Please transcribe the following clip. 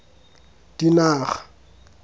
dinaga